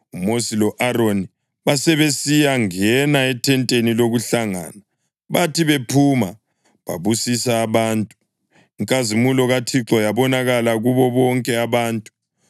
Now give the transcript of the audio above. UMosi lo-Aroni basebesiyangena ethenteni lokuhlangana. Bathi bephuma, babusisa abantu; inkazimulo kaThixo yabonakala kubo bonke abantu.